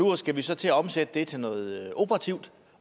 nu skal vi så til at omsætte det til noget operativt